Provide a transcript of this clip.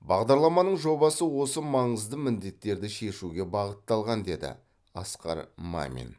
бағдарламаның жобасы осы маңызды міндеттерді шешуге бағытталған деді асқар мамин